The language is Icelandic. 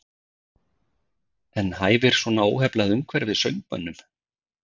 En hæfir svona óheflað umhverfi söngmönnum?